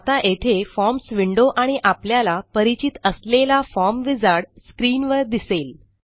आता येथे forms window आणि आपल्याला परिचित असलेला फॉर्म विझार्ड स्क्रीनवर दिसेल